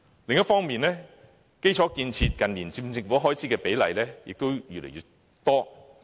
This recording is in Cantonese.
另一方面，近年基礎建設佔政府開支的比例亦越來越大。